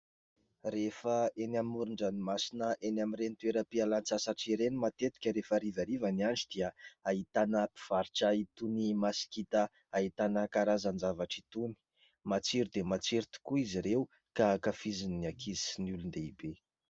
Rehefa eny amoron-dranomasina, eny amin'ireny toeram-pialan-tsasatra ireny, matetika rehefa harivariva ny andro any dia ahitana mpivarotra itony masikita ahitana karazan-javatra itony. Matsiro dia matsiro tokoa izy ireo, ka hankafizin'ny ankizy sy ny olon-dehibe.